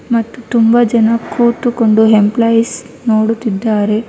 ಮತ್ತು ತುಂಬಾ ಜನ ಕೂತುಕೊಂಡು ಎಂಪ್ಲಾಯೀಸ್ ನೋಡುತ್ತಿದ್ದಾರೆ.